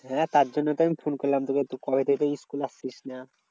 হ্যাঁ তার জন্যই তো আমি ফোন করলাম তোকে তুই কবে থেকে school আসছিস না।